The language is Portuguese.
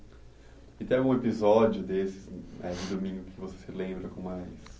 E tem algum episódio desses aí de domingo que você se lembra com mais